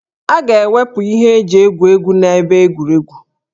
A ga-ewepụ ihe eji egwu egwu na ebe egwuregwu